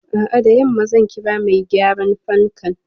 A'a, da yamma zan kira mai gyaran fankan.